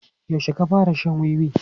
Yaushe ka fara shan wiwi?